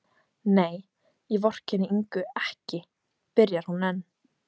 Nei, ég vorkenndi Ingu ekki, byrjar hún enn.